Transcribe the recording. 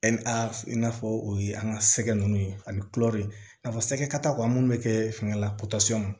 i n'a fɔ o ye an ka sɛgɛn ninnu ye ani i n'a fɔ sɛgɛ kataw an minnu bɛ kɛ fɛngɛ la